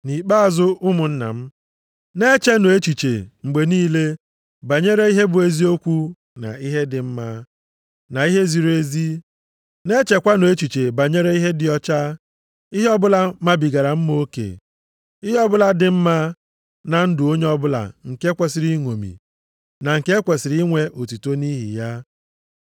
Nʼikpeazụ, ụmụnna m, na-echenụ echiche mgbe niile banyere ihe bụ eziokwu, na ihe dị mma, na ihe ziri ezi. Na-echekwanụ echiche banyere ihe dị ọcha, ihe ọbụla mabigara mma oke, ihe ọbụla dị mma na ndụ onye ọbụla nke e kwesiri ịṅomi, na nke e kwesiri inwe otuto nʼihi ya.